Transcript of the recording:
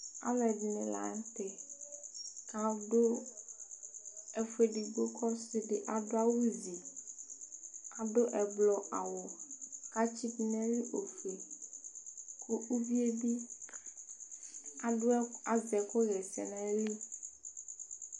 Alʋɛdìní la ntɛ kʋ adu ɛfu ɛdigbo kʋ ɔsi di adu awu zi Adu ɛblɔ awu kʋ atsi du nʋ ɔfʋe kʋ ʋvi ye bi azɛ ɛku ɣɛsɛ dʋ nʋ ayìlí